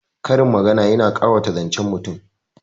Karin magana yana ƙawata zancen mutum